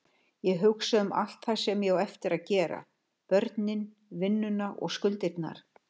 Ég hugsa um allt það sem ég á eftir að gera, börnin, vinnuna og skuldirnar.